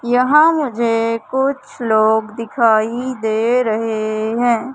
यहां मुझे कुछ लोग दिखाई दे रहे हैं।